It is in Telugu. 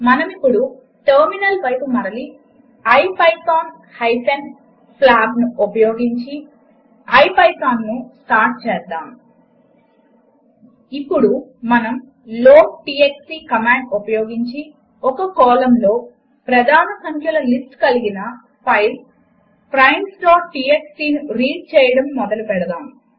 మనమిప్పుడు టెర్మినల్ వైపు మరలి ఐపైథాన్ హైపెన్ ప్య్లాబ్ను ఉపయోగించి ఐపైథాన్ స్టార్ట్ చేద్దాము ఇప్పుడు మనము లోడ్టీఎక్స్టీ కమాండ్ ఉపయోగించి ఒక కాలమ్లో ప్రధాన సంఖ్యల లిస్ట్ కలిగిన ఫైల్ primesటీఎక్స్టీ ను రీడ్ చేయడం ద్వారా మొదలెడదాము